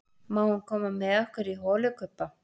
Má hann koma með okkur í holukubba?